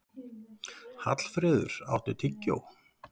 Hallfreður, áttu tyggjó?